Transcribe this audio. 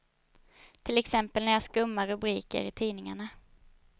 Till exempel när jag skummar rubriker i tidningarna.